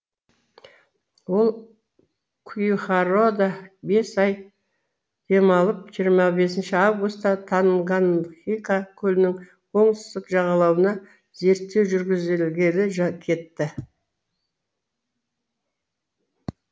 ол куихарода бес ай демалып жиырма бесінші августта танганьхика көлінің оңтүстік жағалауына зерттеу жүргізілгелі кетті